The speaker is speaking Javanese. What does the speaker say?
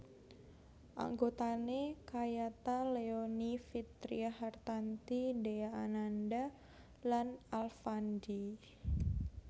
Anggotane kayata Leony Vitria Hartanti Dhea Ananda lan Alfandy